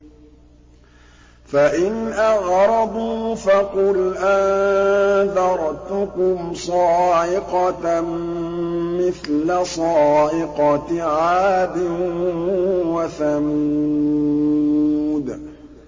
فَإِنْ أَعْرَضُوا فَقُلْ أَنذَرْتُكُمْ صَاعِقَةً مِّثْلَ صَاعِقَةِ عَادٍ وَثَمُودَ